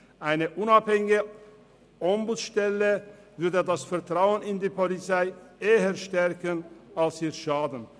Eine unabhängige Ombudsstelle würde das Vertrauen in die Polizei eher stärken, denn schaden.